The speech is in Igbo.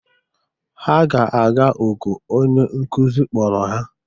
Ha ga-aga oku onye nkuzi kpọrọ ha.